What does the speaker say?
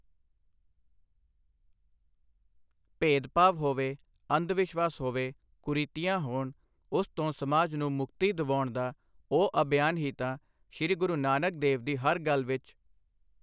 ਭੇਦਭਾਵ ਹੋਵੇ, ਅੰਧਵਿਸ਼ਵਾਸ ਹੋਵੇ, ਕੁਰੀਤੀਆਂ ਹੋਣ, ਉਸ ਤੋਂ ਸਮਾਜ ਨੂੰ ਮੁਕਤੀ ਦਿਵਾਉਣ ਦਾ ਉਹ ਅਭਿਆਨ ਹੀ ਤਾਂ ਸੀ ਗੁਰੂ ਨਾਨਕ ਦੇਵ ਦੀ ਹਰ ਗੱਲ ਵਿੱਚ।